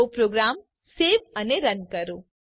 તો program save અને run કરો